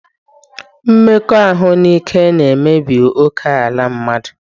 Mmekọahụ n'ike na-emebi ókèala mmadụ